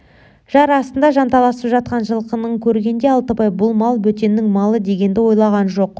жар астында жанталасып жатқан жылқысын көргенде алтыбай бұл мал бөтеннің малы дегенді ойлаған жоқ